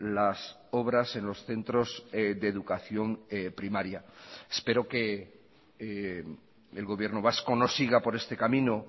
las obras en los centros de educación primaria espero que el gobierno vasco no siga por este camino